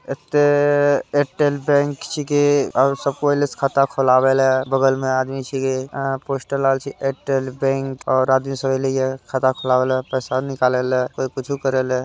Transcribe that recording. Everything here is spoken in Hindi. एत्ते एयरटेल बैंक छिके आउर सब कोय अइले छे खाता खुलाबय ले बगल में आदमी छिके आर पोस्टर लागल छै एयरटेल बैंक और आदमी सब अइले ये खाता खुलाबे ले पैसा निकाले ले कोय कुछु करै ले।